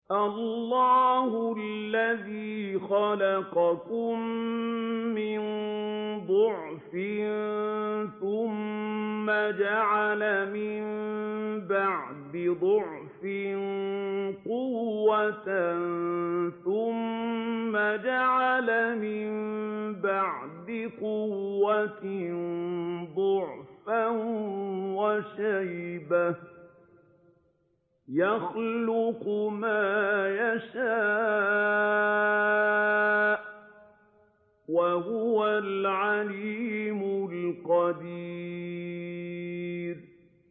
۞ اللَّهُ الَّذِي خَلَقَكُم مِّن ضَعْفٍ ثُمَّ جَعَلَ مِن بَعْدِ ضَعْفٍ قُوَّةً ثُمَّ جَعَلَ مِن بَعْدِ قُوَّةٍ ضَعْفًا وَشَيْبَةً ۚ يَخْلُقُ مَا يَشَاءُ ۖ وَهُوَ الْعَلِيمُ الْقَدِيرُ